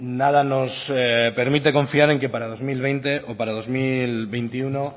nada nos permite confiar en que para dos mil veinte o para dos mil veintiuno